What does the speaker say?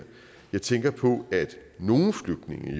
jeg tænker på at nogle flygtninge